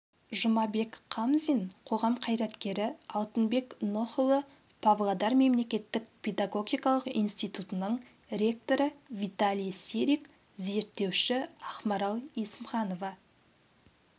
жұмабек қамзин қоғам қайраткері алтынбек нұхұлы павлодар мемлекеттік педагогикалық институтының ректоры виталий сирик зерттеуші ақмарал есімханова